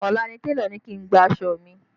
Ọ̀la ni télọ̀ ni kí n gba aṣọ mi